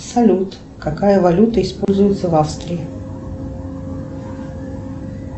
салют какая валюта используется в австрии